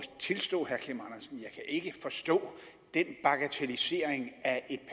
tilstå at jeg ikke kan forstå den bagatellisering af